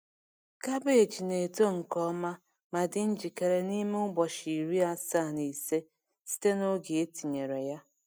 Cabbage na-eto nke ọma ma dị njikere n’ime ụbọchị iri asaa na ise site n’oge e tinyere ya.